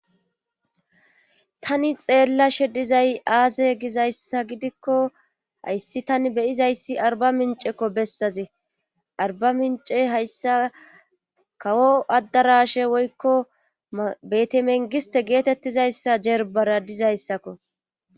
tani xeella shedizay aaze gizayssa gidikko hayssi tani beyizayssi arba mincekko bessaze arba mince hayssa kawo addarashe woykko betemengiste geetettizayssa jerbara dizayssakko